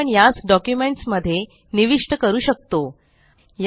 आता आपण यास डॉक्युमेंट्स मध्ये निविष्ट करू शकतो